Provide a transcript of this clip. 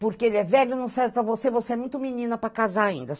Porque ele é velho não serve para você, você é muito menina para casar ainda.